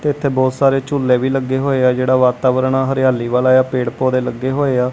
ਜਿੱਥੇ ਬਹੁਤ ਸਾਰੇ ਝੁੱਲੇ ਵੀ ਲੱਗੇ ਹੋਇਆ ਜਿਹੜਾ ਵਾਤਾਵਰਣ ਆ ਹਰਿਆਲੀ ਵਾਲਾ ਆ ਪੇੜ ਪੌਧੇ ਲੱਗੇ ਹੋਇਆ।